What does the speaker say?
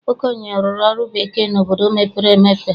Okoye rụrụ ọrụ bekee n'obodo mepere emepe.